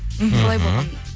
мхм солай болған